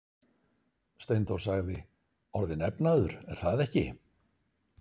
Steindór sagði: Orðinn efnaður, er það ekki?